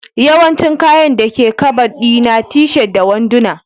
Yawancin kayan dake Kabad di na t-shirt da wanduna